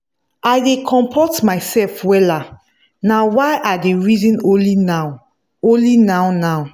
i dey compot mysef wella now wy i dey reason only now only now now